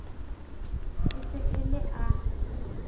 e se e le a